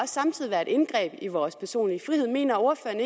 samtidig være et indgreb i vores personlige frihed mener